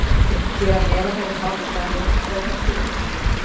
Hér að neðan eru bálkar Jónsbókar tilgreindir.